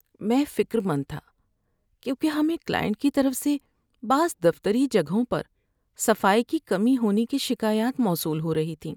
میں فکرمند تھا کیونکہ ہمیں کلائنٹ کی طرف سے بعض دفتری جگہوں پر صفائی کی کمی ہونے کی شکایات موصول ہو رہی تھیں۔